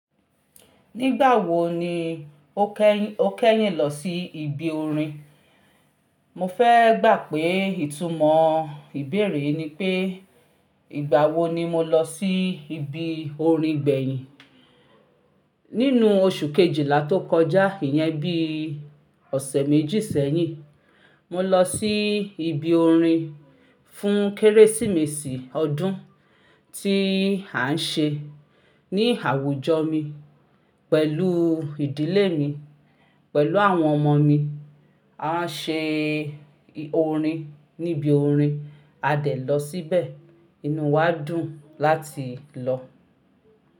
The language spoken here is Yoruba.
Nígbà wo ni o kẹ́, o kẹ́yìn lọ sí ibi orin? Mo fẹ́ gbà pé ìtumọ̀ ìbéèrè yii ni pé ìgbà wo ni mo lọ sí ibi orin gbẹ̀yìn. Nínú oṣù kejìlá tó kọjá, ìyẹn bí ọ̀sẹ̀ méjì sẹ́yìn, mo lọ sí ibi orin fún Kérésìmesì ọdún tí à ń ṣe ní àwùjọ mi pẹ̀lú ìdílé mi, pẹ̀lú àwọn ọmọ mi. A ṣe orin níbi orin, a dẹ̀ lọ síbẹ̀. Inú wa dùn láti lọ.